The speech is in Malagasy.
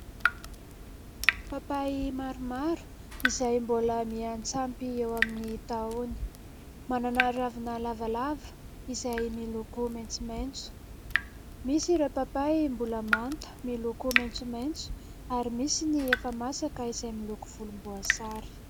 Papay maromaro izay mbola miantsampy eo amin'ny tahony. Manana ravina lavalava izay miloko maitsomaitso. Misy ireo papay mbola manta miloko maitsomaitso, ary misy ny efa masaka izay miloko volomboasary.